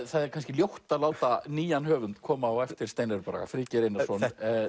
það er kannski ljótt að láta nýjan höfund koma á eftir Steinari Braga Friðgeir Einarsson